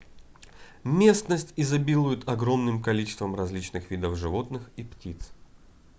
местность изобилует огромным количеством различных видов животных и птиц